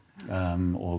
og